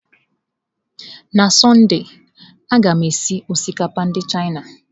N'sọnde, a ga m esi osikapa ndị Chịana.